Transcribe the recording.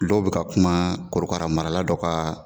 Olu bɛ ka kuma korokara marala dɔ kan.